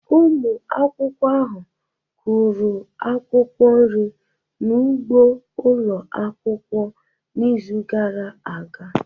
Ụmụ akwụkwọ ahụ kụrụ akwụkwọ nri n'ugbo ụlọ akwụkwọ n'izu gara aga.